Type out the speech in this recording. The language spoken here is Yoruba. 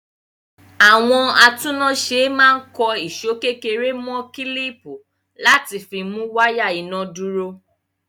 Àwọn atúnnáṣe máa ń kan ìṣó kékeré mọ́ kílíìpì láti fi mú wáyà iná dúró.